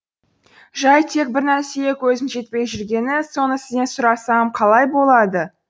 жай тек бір нәрсеге көзім жетпей жүргені соны сізден сұрасам қалай болады